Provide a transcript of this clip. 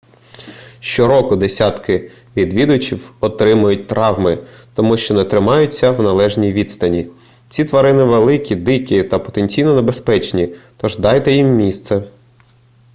щороку десятки відвідувачів отримують травми тому що не тримаються на належній відстані ці тварини великі дикі та потенційно небезпечні тож дайте їм місце